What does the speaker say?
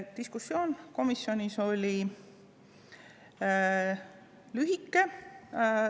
Diskussioon komisjonis oli lühike.